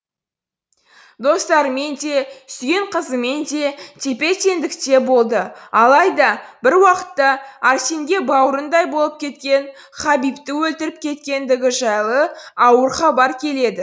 достарымен де сүйген қызымен де тепе теңдікте болды алайда бір уақытта арсенге бауырындай болып кеткен хабибті өлтіріп кеткендігі жайлы ауыр хабар келеді